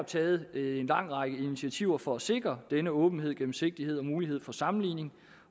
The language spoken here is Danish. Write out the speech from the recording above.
taget en lang række initiativer for at sikre den åbenhed og gennemsigtighed og mulighed for sammenligning